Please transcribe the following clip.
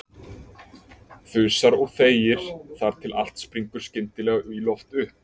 Þusar og þegir þar til allt springur skyndilega í loft upp.